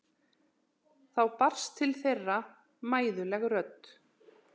Þá barst til þeirra mæðuleg rödd